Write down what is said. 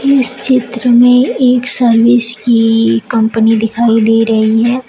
इस चित्र में एक सर्विस की कंपनी दिखाई दे रही है।